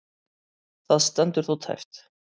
Það stendur þó tæpt.